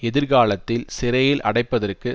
எதிர்காலத்தில் சிறையில் அடைப்பதற்கு